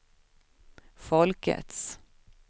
folkets